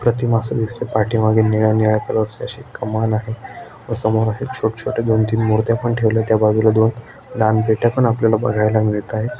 प्रतिमा अस दिसतय पाठी मागे निळ्या निळ्या कलरची अशी कमान आहे व समोर अशा छोट छोट दोन तीन मुर्त्या पण ठेवलेल्यात त्या बाजुला दोन दान पेठा पण आपल्याला बगायला मिळत्यात.